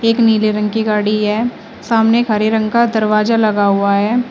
एक नीले रंग की गाड़ी है सामने हरे रंग का दरवाजा लगा हुआ है।